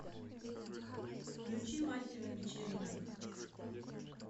включи мастера вечеринок